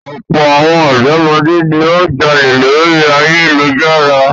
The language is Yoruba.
Ọ̀pọ̀ àwọn ọ̀dọ́mọdé ni ó ń jalè lórí ayélujára.